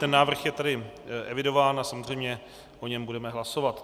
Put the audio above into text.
Ten návrh je tady evidován a samozřejmě o něm budeme hlasovat.